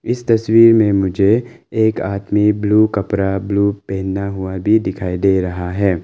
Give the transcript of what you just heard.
इस तस्वीर में मुझे एक आदमी ब्लू कपड़ा ब्लू पहना हुआ भी दिखाई दे रहा है।